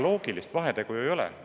Aga loogilist vahet ju ei ole.